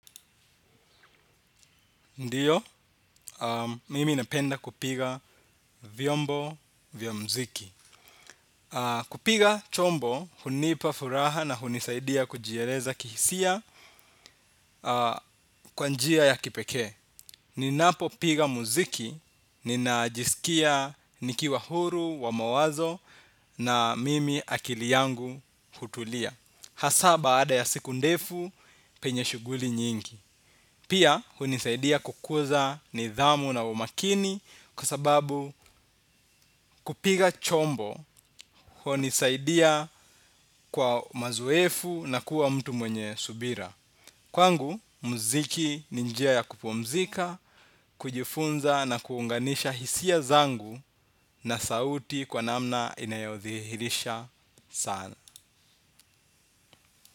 Ndio, mimi napenda kupiga vyombo vya muziki. Kupiga chombo, hunipa furaha na hunisaidia kujieleza kihisia kwa njia ya kipekee. Ninapopiga muziki, ninajisikia nikiwa huru, wa mawazo na mimi akili yangu hutulia. Hasa baada ya siku ndefu penye shughuli nyingi pia hunisaidia kukuza nidhamu na umakini kwa sababu kupiga chombo hunisaidia kwa mazoefu na kuwa mtu mwenye subira. Kwangu, muziki ni njia ya kupumzika, kujifunza na kuunganisha hisia zangu na sauti kwa namna inayothihirisha sana.